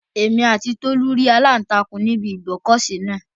Èmi àti Tolú rí aláǹtakùn ní ibi ìgbọ́kọ̀sí náà